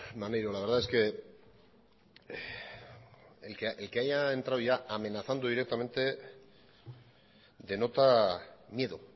maneiro la verdad es que el que haya entrado ya amenazando directamente denota miedo